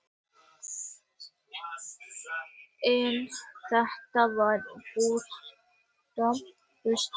En þetta var bara óskhyggja.